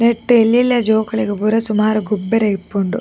ಎಡ್ಡೆ ಎಲ್ಲೆಲ್ಲ್ಯ ಜೋಕುಲೆಗ್ ಪೂರ ಸುಮಾರ್ ಗೊಬ್ಬರೆಗಿಪ್ಪುಂಡು.